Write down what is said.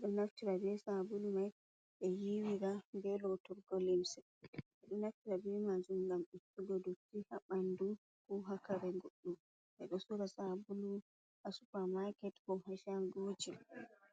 ɗo naftira bee saabulu mai ɓe yiiwa ngam ɓe lootora limse nden ɗo naftira bee manjum ngam ittugo dotti haa ɓanndu koo haa kare guɗɗum ɓe ɗo soora saabulu haa supermarket koo haa shangooji.